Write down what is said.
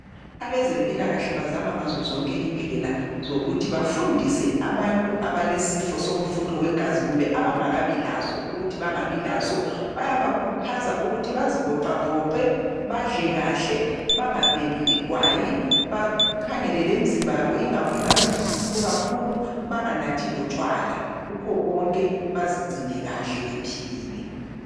abezempilakahle bazama ngazo zonke izindlela zokuthi bafundise abantu abalesifo somfutho wegazi kumbe abangakabi laso ukuthi bangabi laso bayabakhuthaza ukuthi bazivoxavoxe badle kahle bangabhemi igwayi bakhangelele imzimba yabo ingabi mkhulu kakhulu banganathi lotshwala kuhko konke bazigcine kahle bephilile